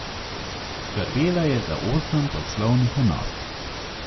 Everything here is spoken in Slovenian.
Skrbela je za osem poslovnih enot.